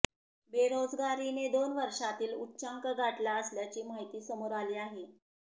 बेरोजगारीने दोन वर्षांतील उच्चांक गाठला असल्याची माहिती समोर आली आहे